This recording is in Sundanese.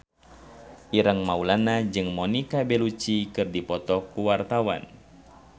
Ireng Maulana jeung Monica Belluci keur dipoto ku wartawan